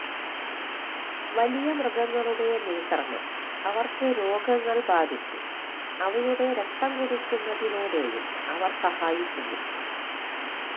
വലിയ മൃഗങ്ങളുടെ നിയന്ത്രണം അവർക്ക് രോഗങ്ങൾ ബാധിച്ച് അവയുടെ രക്തം കുടിക്കുന്നതിലൂടെയും അവർ സഹായിക്കുന്നു